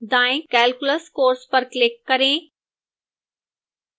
दाएं calculus course पर click करें